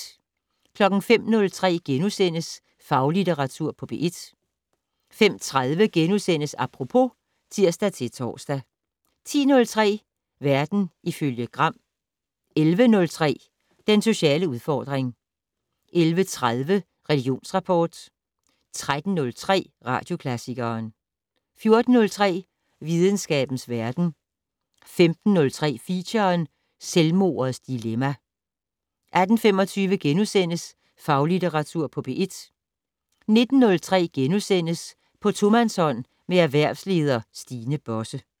05:03: Faglitteratur på P1 * 05:30: Apropos *(tir-tor) 10:03: Verden ifølge Gram 11:03: Den sociale udfordring 11:30: Religionsrapport 13:03: Radioklassikeren 14:03: Videnskabens verden 15:03: Feature: Selvmordets dilemma 18:25: Faglitteratur på P1 * 19:03: På tomandshånd med erhvervsleder Stine Bosse *